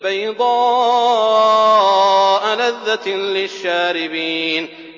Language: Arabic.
بَيْضَاءَ لَذَّةٍ لِّلشَّارِبِينَ